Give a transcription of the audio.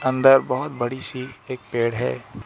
अंदर बहोत बड़ी सी एक पेड़ है।